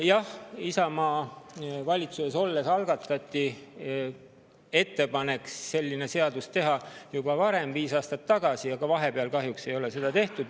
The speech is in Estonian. Jah, ettepanek selline seadus algatada sai tehtud juba varem, viis aastat tagasi, kui Isamaa oli valitsuses, aga vahepeal kahjuks seda ei ole.